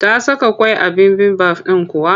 Ta saka ƙwai a bibimbaf ɗin kuwa?